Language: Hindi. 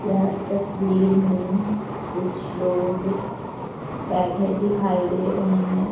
यह तस्वीर मैं कुछ लोग बैठे दिखाई दे रहे हैं।